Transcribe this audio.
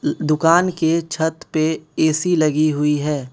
दुकान के छत पे ए_सी लगी हुई है।